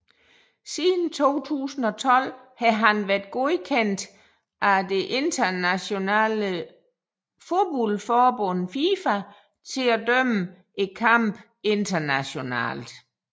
Siden 2012 har han været godkendt af det internationale fodboldforbund FIFA til at dømme kampe internationalt